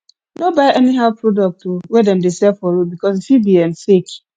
no buy anyhow product oh wey dem dey sell for road because e fit be um fake